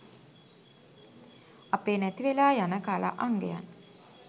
අපේ නැති වෙලා යන කලා අංගයන්